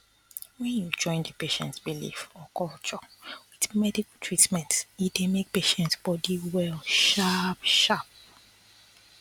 wen you join d patients belief or culture with medical treatment e dey make patients body well sharp sharp